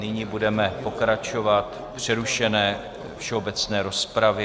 Nyní budeme pokračovat v přerušené všeobecné rozpravě.